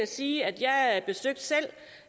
sige at jeg selv